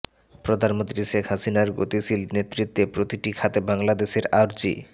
প্রধানমন্ত্রী শেখ হাসিনার গতিশীল নেতৃত্বে প্রতিটি খাতে বাংলাদেশের অর্জি